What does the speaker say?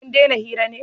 kun dena hira ne?